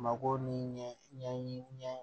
Mako ni ɲɛɲini ɲɛ